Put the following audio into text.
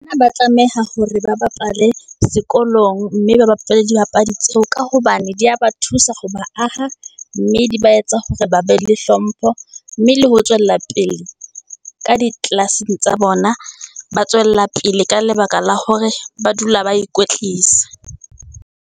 Ba tlameha hore ba bapale sekolong, mme ba bapale dibapadi tseo, ka hobane di ya ba thusa ho ba aha, mme di ba etsa hore ba be le hlompho, mme le ho tswella pele ka di class-eng tsa bona. Ba tswella pele ka lebaka la hore ba dula ba ikwetlisa.